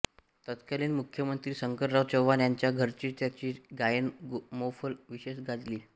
तत्कालीन मुख्यमंत्री शंकरराव चव्हाण यांच्या घरची त्यांची गायन मैफल विशेष गाजली